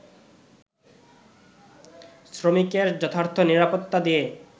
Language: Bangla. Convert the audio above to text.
শ্রমিকের যথার্থ নিরাপত্তা দিয়ে